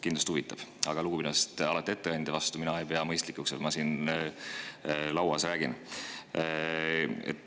Kindlasti huvitavad, aga lugupidamisest ettekandja vastu ei pea ma mõistlikuks siin lauas rääkida.